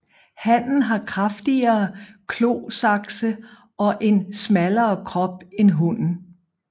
Hannen har kraftigere klosakse og en smallere krop end hunnen